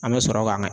An bɛ sɔrɔ ka